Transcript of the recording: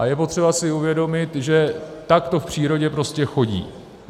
A je potřeba si uvědomit, že tak to v přírodě prostě chodí.